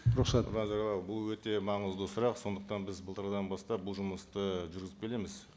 рұқсат нұрлан зайроллаұлы бұл өте маңызды сұрақ сондықтан біз былтырдан бастап бұл жұмысты жүргізіп келеміз